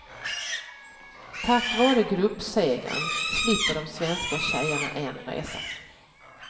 Tack vare gruppsegern slipper de svenska tjejerna en resa.